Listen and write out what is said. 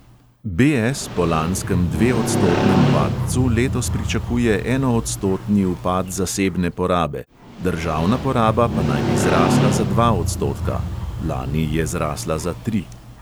BS po lanskem dveodstotnem padcu letos pričakuje enoodstotni upad zasebne porabe, državna poraba pa naj bi zrasla za dva odstotka (lani je zrasla za tri).